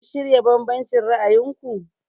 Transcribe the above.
Have you reconciled your different views?